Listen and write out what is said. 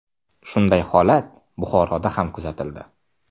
Shunday holat Buxoroda ham kuzatildi.